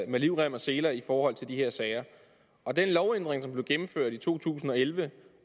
med livrem og seler i forhold til de her sager og den lovændring som blev gennemført i to tusind og elleve